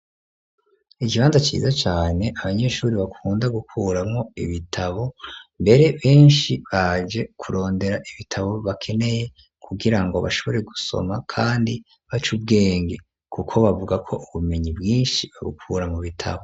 Ikibanza ciza cane, abanyeshuri bakunda gukuramwo ibitabo, mbere benshi baje kurondera ibitabo bakeneye, kugira ngo bashobore gusoma kandi bace ubwenge, kuko bavuga ko ubumenyi bwinshi babukukura mu bitabo.